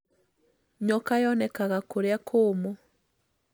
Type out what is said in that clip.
Nyoka yonekaga kũria kũũmũ